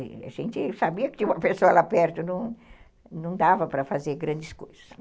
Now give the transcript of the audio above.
A gente sabia que tinha uma pessoa lá perto, não dava para fazer grandes coisas.